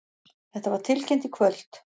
Þetta var tilkynnt í kvöld